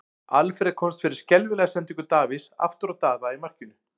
Alfreð komst fyrir skelfilega sendingu Davíðs aftur á Daða í markinu.